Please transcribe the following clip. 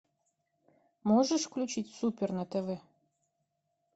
можешь включить супер на тв